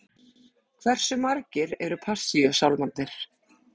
Hversu margir eru passíusálmarnir?